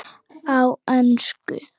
Á ensku